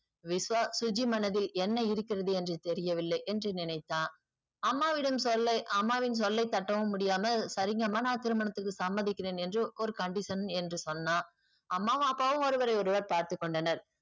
விஷ்வா சுஜி மனதில் என்ன இருக்கிறது என்று தெரியவில்லை என்று நினைத்தான் அம்மாவிடம் சொல்லை அம்மாவின் சொல்லை தட்டவும் முடியாமல் சரிங்கம்மா நா திருமணத்துக்கு சம்மதிக்குறேன் என்று ஒரு condition என்று சொன்னா அம்மாவும் அப்பாவும் ஒருவரையொருவர் பார்த்துக்கொண்டனர்